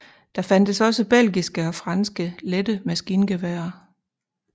Der fandtes også belgiske og franske lette maskingeværer